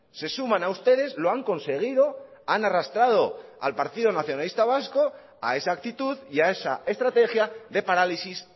se suman a ustedes lo han conseguido han arrastrado a partido nacionalista vasco a esa actitud y a esa estrategia de parálisis